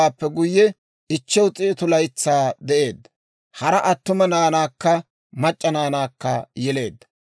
Seemi Arifaakisaada yeleeddawaappe guyye, 500 laytsaa de'eedda; hara attuma naanaakka mac'c'a naanaakka yeleedda.